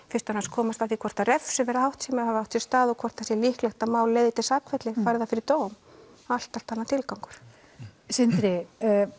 komast að því hvort að refsiverð háttsemi hafi átt sér stað og hvort það sé líklegt að mál leiði til sakfellingar fari það fyrir dóm allt allt annar tilgangur Sindri